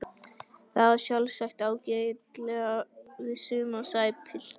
Það á sjálfsagt ágætlega við suma sagði pilturinn.